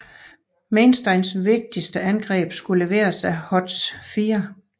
Mainsteins vigtigste angreb skulle leveres af Hoths 4